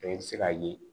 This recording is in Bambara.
i bɛ se k'a ye